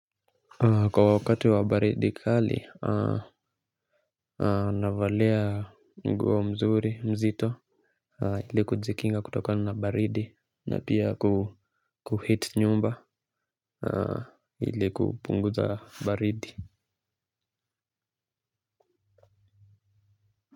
Kwa wakati wa baridi kali na valia nguo mzuri mzito ili kujikinga kutoka na baridi na pia kuheat nyumba ili kupunguza baridi.